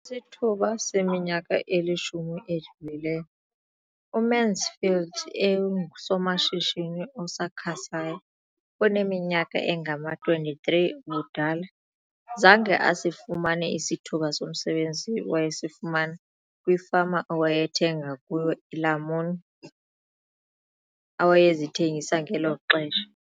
Kwisithuba seminyaka elishumi edlulileyo, uMansfield engusomashishini osakhasayo oneminyaka engama-23 ubudala, zange asifumane isithuba somsebenzi awayesifumana kwifama awayethenga kuyo iilamuni awayezithengisa ngelo xesha.